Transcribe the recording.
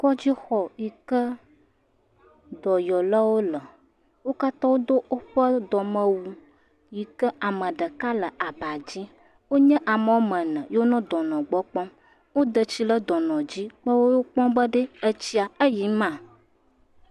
Kɔdzixɔ yi ke dɔyɔlawo le wo katã wodo woƒe dɔmewu yi kea me ɖeka le aba dzi, wonye ame ene yi ke nɔ dɔnɔ gbɔ kpɔm. Woda tsi ɖe dɔnɔ dzi le egbɔ kpɔm be tsi la le yiyi ma.